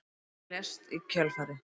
Hann lést í kjölfarið